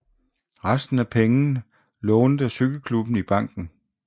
Resten af pengene lånte cykelklubben i banken